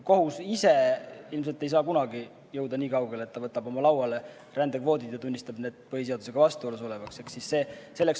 Kohus ise ilmselt ei saa kunagi jõuda niikaugele, et ta võtab oma lauale rändekvoodid ja tunnistab need põhiseadusega vastuolus olevaks.